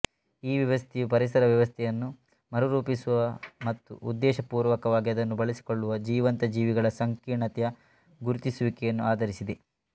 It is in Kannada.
ಈ ವ್ಯವಸ್ಥೆಯು ಪರಿಸರ ವ್ಯವಸ್ಥೆಯನ್ನು ಮರುರೂಪಿಸುವ ಮತ್ತು ಉದ್ದೇಶಪೂರ್ವಕವಾಗಿ ಅದನ್ನು ಬಳಸಿಕೊಳ್ಳುವ ಜೀವಂತ ಜೀವಿಗಳ ಸಂಕೀರ್ಣತೆಯ ಗುರುತಿಸುವಿಕೆಯನ್ನು ಆಧರಿಸಿದೆ